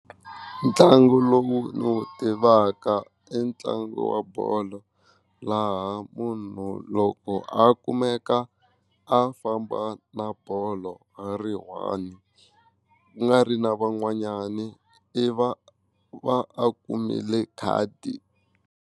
Ntlangu lowu ni wu tivaka i ntlangu wa bolo laha munhu loko a kumeka a famba na bolo a ri one ku nga ri na van'wanyani i va va a kumile khadi.